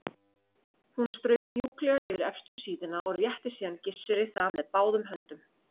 Hún strauk mjúklega yfir efstu síðuna og rétti síðan Gissuri það með báðum höndum.